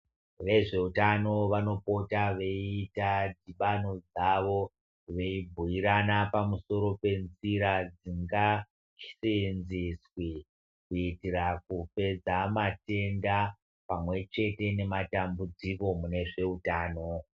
Vezveutano vanopota veita dhibano dzavo veibhuirana pamusoro penzira dzingaseenzeswe kuitira kupedza matenda pamwechete nematambudziko mune zveutano.